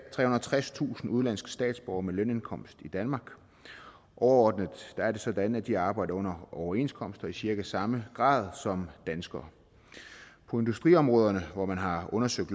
og tredstusind udenlandske statsborgere med lønindkomst i danmark overordnet er det sådan at de arbejder under overenskomster i cirka samme grad som danskere på industriområderne hvor man har undersøgt